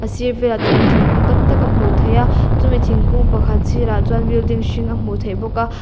sir velah chuan thingkung tam tak a hmuh theih a chumi thingkung pakhat sirah chuan building hring a hmuh theih bawk a.